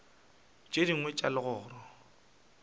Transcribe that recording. le tše dingwe tša legoro